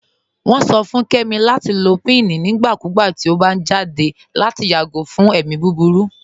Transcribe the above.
Wọn sọ fún Kẹmi lati lọ pín nígbàkúgbà tí ọ bá jáde lati yágò fún ẹ̀mi búburú.